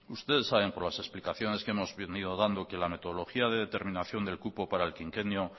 ustedes saben por las explicaciones que hemos venido dando que la metodología de determinación del cupo para el quinquenio